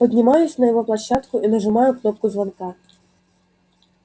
поднимаюсь на его площадку и нажимаю кнопку звонка